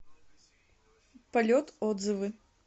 полет отзывы